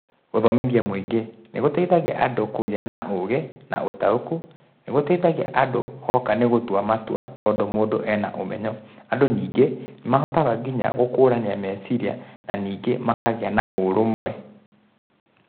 Gũthomithia mũingĩ nĩ gũteithagia andũ kũgĩa na ũgĩ na ũtaũku, nĩ gũteithagia andũ oka nĩ gũtua matua tondũ mũndũ e na ũmenyo. Andũ ningĩ, nĩ mahotaga nginya gũkũrania meciria na ningĩ makagĩa na ũrũmwe.